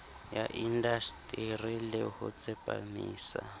ya indaseteri le ho tsepamisa